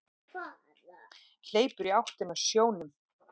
Hleypur í áttina að sjónum.